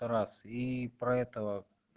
раз и про этого